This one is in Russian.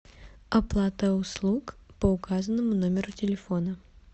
оплата услуг по указанному номеру телефона